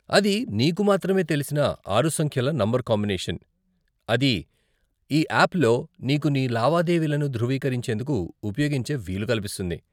అది నీకు మాత్రమే తెలిసిన ఆరు సంఖ్యల నంబర్ కాంబినేషన్, అది ఈ ఆప్లో నీకు నీ లావాదేవీలను ధృవీకరించేందుకు ఉపయోగించే వీలు కల్పిస్తుంది.